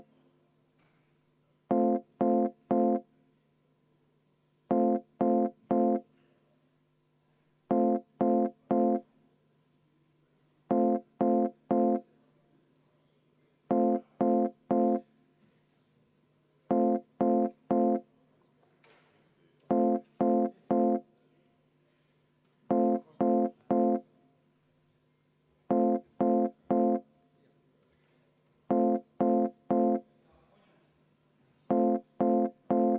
Palun Eesti Konservatiivse Rahvaerakonna fraktsiooni nimel seda muudatusettepanekut hääletada ja samas võtta ka kümme minutit vaheaega!